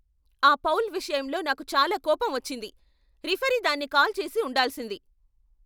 ఆ ఫౌల్ విషయంలో నాకు చాలా కోపం వచ్చింది! రిఫరీ దాన్ని కాల్ చేసి ఉండాల్సింది.